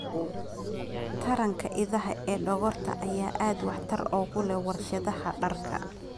Taranka idaha ee dhogorta ayaa aad waxtar ugu leh warshadaha dharka.